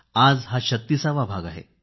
आज हा 36वा भाग आहे